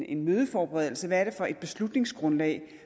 en mødeforberedelse hvad det er for et beslutningsgrundlag